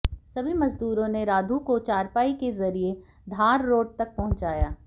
सभी मजदूरों ने राधू को चारपाई के जरिए धार रोड तक पहुंचाया